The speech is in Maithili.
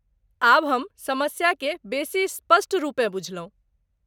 आब हम समस्या केँ बेसी स्पष्ट रूपेँ बुझलहुँ।